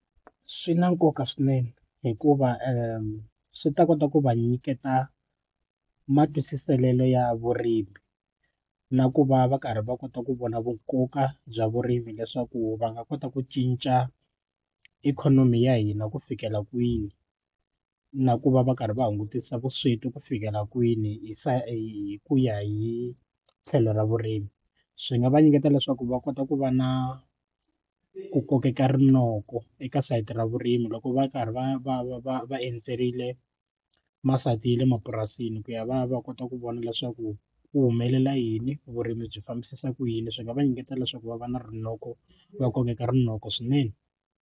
Swi na nkoka swinene hikuva swi ta kota ku va nyiketa matwisiselelo ya vurimi na ku va va karhi va kota ku vona vunkoka bya vurimi leswaku va nga kota ku cinca ikhonomi ya hina ku fikela kwini na ku va va karhi va hungutisa vusweti ku fikela kwini se hi ku ya hi tlhelo ra vurimi swi nga va nyiketa leswaku va kota ku va na ku kokeka rinoko eka sayiti ra vurimi loko va karhi va va va va va endzerile masayiti ya le mapurasini ku ya va ya va kota ku vona leswaku ku humelela yini vurimi byi fambisisa ku yini swi nga va nyiketa leswaku va va na rinoko va kokeka rinoko swinene.